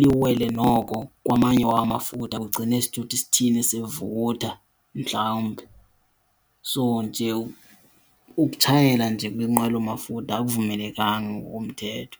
liwele noko kwamanye wamafutha kugcine isithuthi sithini sivutha mhlawumbi. So nje ukutshayela nje kwinqwelomafutha akuvumelekanga ngokomthetho.